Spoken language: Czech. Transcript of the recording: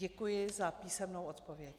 Děkuji za písemnou odpověď.